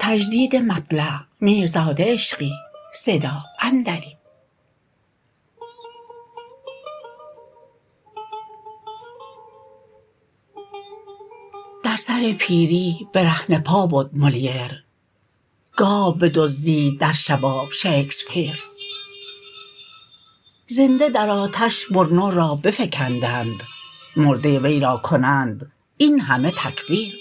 در سر پیری برهنه پا بد مولییر گاو بدزدید در شباب شکسپیر زنده در آتش برونو را بفکندند مرده وی را کنند این همه تکبیر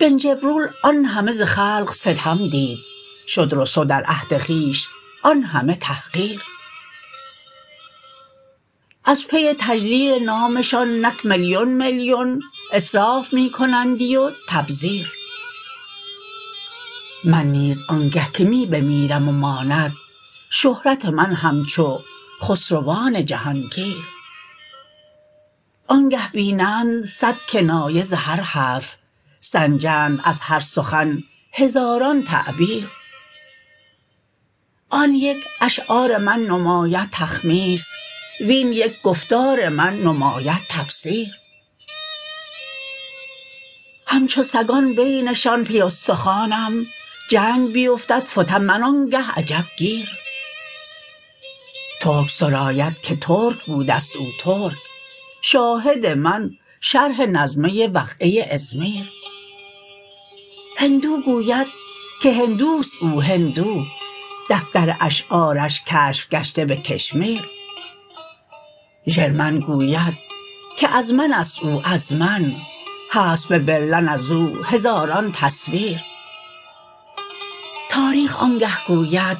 بن جبرول آن همه ز خلق ستم دید شد روسو در عهد خویش آن همه تحقیر از پی تجلیل نامشان نک میلیون میلیون اصراف می کنندی و تبذیر من نیز آنگه که می بمیرم و ماند شهرت من همچو خسروان جهانگیر آنگه بینند صد کنایه ز هر حرف سنجند از هر سخن هزاران تعبیر آن یک اشعار من نماید تخمیس وین یک گفتار من نماید تفسیر همچو سگان بینشان پی ستخوانم جنگ بیفتد فتم من آنگه عجب گیر ترک سراید که ترک بودست او ترک شاهد من شرح نظم وقعه ازمیر هندو گوید که هندوست او هندو دفتر اشعارش کشف گشته به کشمیر ژرمن گوید که از من است او از من هست به برلن از او هزاران تصویر تاریخ آنگه گوید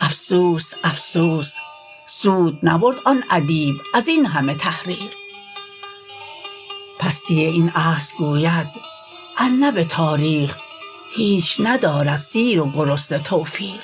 افسوس افسوس سود نبرد آن ادیب از این همه تحریر پستی این عصر گوید ار نه به تاریخ هیچ ندارند سیر و گرسنه توفیر